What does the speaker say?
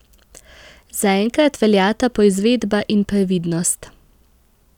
Zaenkrat veljata poizvedba in previdnost.